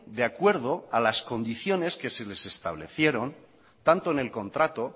de acuerdo a las condiciones que se les establecieron tanto en el contrato